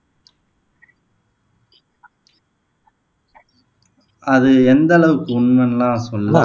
அது எந்த அளவுக்கு உண்மைன்னுலாம் சொல்லல